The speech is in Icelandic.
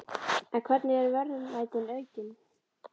En hvernig eru verðmætin aukin?